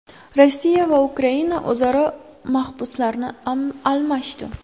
Rossiya va Ukraina o‘zaro mahbuslarni almashdi.